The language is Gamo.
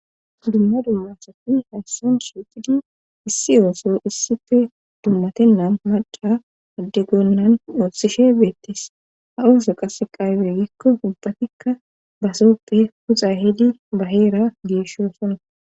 Dumma dummasati hayssan shiucidi issi ooso issife dummatennan madha adde gonnan oossishe beettis ha ooso qasse qaaybe gikko ubbatikka basoppe puxa hidi baheera geeshshosona